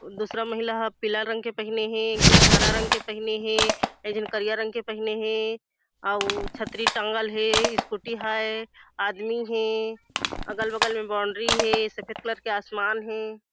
दूसरा महिला ह पीला रंग के पहिने हे जिन हरा रंग के पहिने हे जिन करिया रंग के पहिने हे अउ छतरी टाँगल हे स्कूटी हे आदमी हे अगल-बगल में बाउंड्री हे सफ़ेद कलर के आसमान हे।